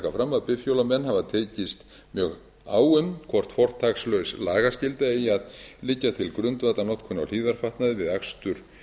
að bifhjólamenn hafa tekist mjög á um hvort fortakslaus lagaskylda eigi að liggja til grundvallar notkun á hlífðarfatnaði við akstur